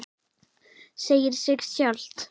Segir sig sjálft.